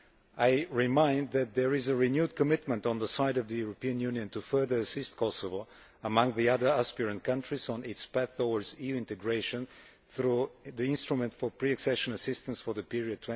I remind you that there is a renewed commitment on the side of the European Union to further assist Kosovo among the other aspiring countries on its path towards EU integration through the Instrument for Pre Accession Assistance for the period